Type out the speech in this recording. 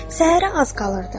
Səhərə az qalırdı.